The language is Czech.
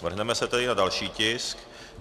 Vrhneme se tedy na další tisk.